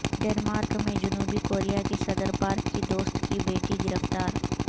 Denmark میں جنوبی Korea کی صدر پارک کی دوست کی بیٹی گرفتار